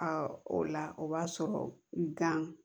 o la o b'a sɔrɔ gan